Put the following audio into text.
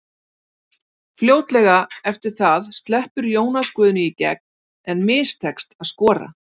Fljótlega eftir það sleppur Jónas Guðni í gegn en mistekst að skora.